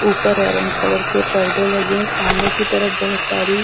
ऊपर orange colour के पडदे लगे हुए है सामने की तरफ बोहोत सारी--